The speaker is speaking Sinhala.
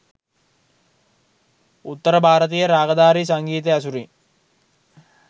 උත්තර භාරතීය රාගධාරී සංගීතය ඇසුරින්